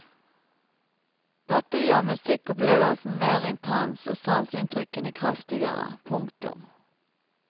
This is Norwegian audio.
Dette gjør musikkopplevelsen mer intens og sanseinntrykkene kraftigere. punktum